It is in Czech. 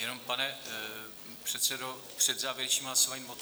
Jenom, pane předsedo, před závěrečným hlasováním odteď?